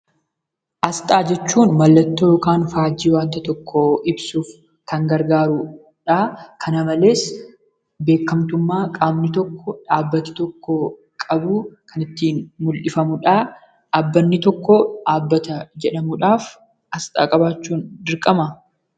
Asxaa jechuun mallattoo yookiin faajjii waan tokkoo ibsuuf kan gargaarudha. Kana malees, beekkamtummaa qaama yookiin dhaabbati tokko qabu kan ittiin mul'ifamudha. Dhaabbanni tokko dhaabbata jedhamuudhaaf asxaa qabaachuun dirqamaa?